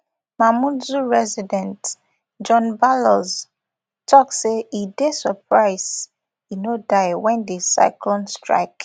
mamoudzou resident john balloz tok say e dey surprise e no die wen di cyclone strike